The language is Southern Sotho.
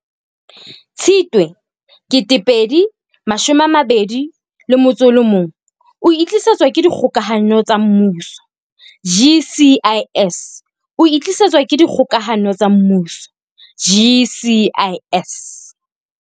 Tshitwe 2021 o e tlisetswa ke Dikgokahano tsa Mmuso GCIS. O e tlisetswa ke dikgokahano tsa mmuso GCIS.